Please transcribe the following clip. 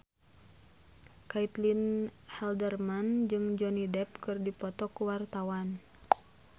Caitlin Halderman jeung Johnny Depp keur dipoto ku wartawan